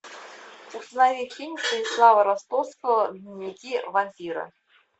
установи фильм станислава ростовского дневники вампира